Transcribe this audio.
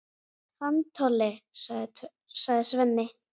Hann Tolli, sagði Svenni.